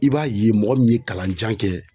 I b'a ye mɔgɔ min ye kalan jan kɛ